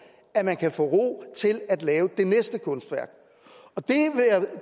at man kan få ro til at lave det næste kunstværk